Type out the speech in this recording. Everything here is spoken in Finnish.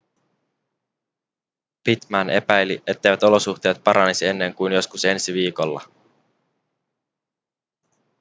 pittman epäili etteivät olosuhteet paranisi ennen kuin joskus ensi viikolla